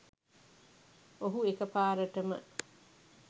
ඔහු එකපාරටම